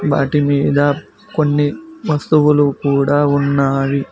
వాటి మీద కొన్ని వస్తువులు కూడా ఉన్నాయి.